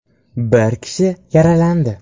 Bir kishi yaralandi.